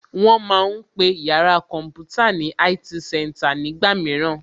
Wón ma ń pe yàrá kọ̀ḿpútà ní IT center nígbà mìíràn